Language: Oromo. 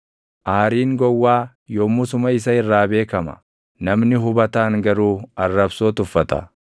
Aariin gowwaa yommusuma isa irraa beekama; namni hubataan garuu arrabsoo tuffata.